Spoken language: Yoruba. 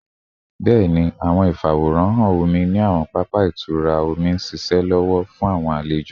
Bẹẹni, awọn ifaworanhan omi ni awọn papa itura omi n ṣiṣẹ lọwọlọwọ fun awọn alejo